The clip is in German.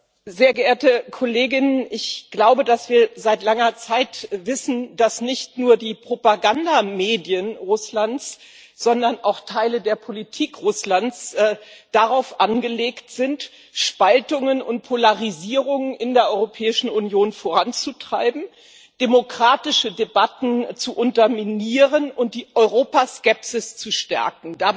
Herr Präsident, sehr geehrte Kollegen! Wir wissen seit langer Zeit, dass nicht nur die Propagandamedien Russlands, sondern auch Teile der Politik Russlands darauf angelegt sind, Spaltungen und Polarisierung in der Europäischen Union voranzutreiben, demokratische Debatten zu unterminieren und die Europaskepsis zu stärken.